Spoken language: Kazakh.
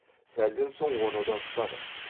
сәлден соң оны да ұстадық